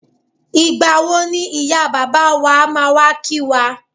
Ìgbàwo ni ìyá bàbá wa máa wà kí wá?